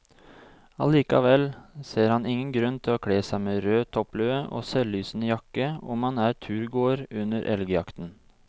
Allikevel ser han ingen grunn til å kle seg med rød topplue og selvlysende jakke om man er turgåer under elgjakten.